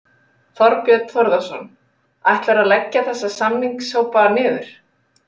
Þorbjörn Þórðarson: Ætlarðu að leggja þessa samningahópa niður?